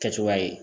Kɛcogoya ye